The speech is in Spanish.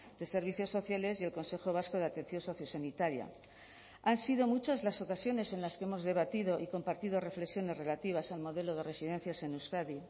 de servicios sociales y el consejo vasco de atención sociosanitaria han sido muchas las ocasiones en las que hemos debatido y compartido reflexiones relativas al modelo de residencias en euskadi